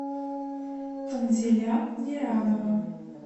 танзиля неранова